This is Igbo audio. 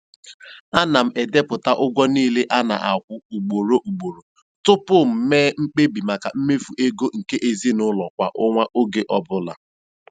Ana m edepụta ụgwọ niile a na-akwụ ugboro ugboro tupu m mee mkpebi maka mmefu ego nke ezinụụlọ kwa ọnwa oge ọbụla.